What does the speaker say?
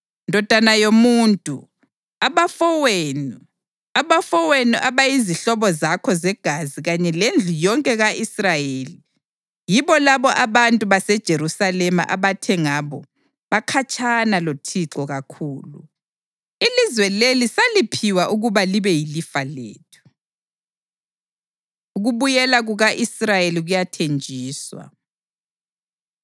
“Ndodana yomuntu, abafowenu, abafowenu abayizihlobo zakho zegazi kanye lendlu yonke ka-Israyeli, yibo labo abantu baseJerusalema abathe ngabo: ‘Bakhatshana loThixo kakhulu; ilizwe leli saliphiwa ukuba libe yilifa lethu.’ ” Ukubuyela Kuka-Israyeli Kuyathenjiswa